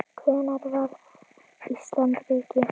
Hvenær varð Ísland ríki?